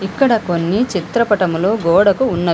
ఇక్కడ కొన్ని చిత్రపటములు గోడకు ఉన్న--